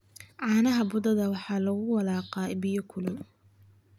caanaha budada ah waxaa lagu walaaqaa biyo kulul